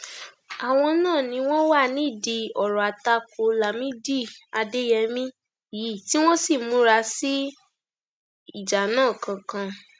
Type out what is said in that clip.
àwọn náà ni wọn wà nídìí ọrọ àtakò lámìdí adéyẹmi yìí tí wọn sì múra sí ìjà náà kankan